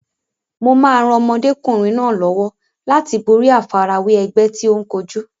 Mo máa ran ọmọdékùnrin náà lọ́wọ́ láti borí àfarawé ẹgbẹ́ tí ó ń kojú.